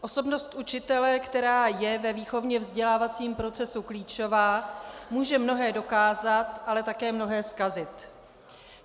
Osobnost učitele, která je ve výchovně-vzdělávacím procesu klíčová, může mnohé dokázat, ale také mnohé zkazit.